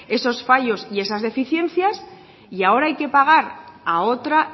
esos fallos y esas deficiencias y ahora hay que pagar a otra